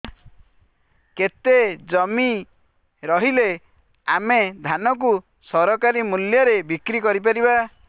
କେତେ ଜମି ରହିଲେ ଆମେ ଧାନ କୁ ସରକାରୀ ମୂଲ୍ଯରେ ବିକ୍ରି କରିପାରିବା